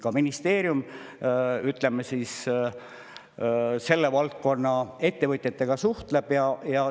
Ka ministeerium, ütleme siis, selle valdkonna ettevõtjatega suhtleb.